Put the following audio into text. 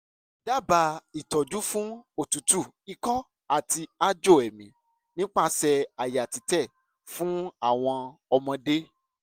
dábàá ìtọ́jú fún òtútù ikọ́ àti aájò èémí nípasẹ̀ àyà títẹ̀ fún àwọn ọmọdé